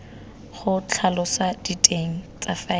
go tlhalosa diteng tsa faele